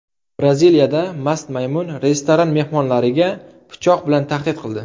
Braziliyada mast maymun restoran mehmonlariga pichoq bilan tahdid qildi.